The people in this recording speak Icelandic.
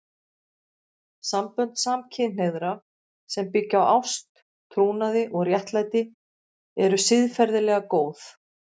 Sambönd samkynhneigðra sem byggja á ást, trúnaði og réttlæti eru siðferðilega góð.